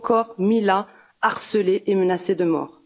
Ou encore Mila, harcelée et menacée de mort?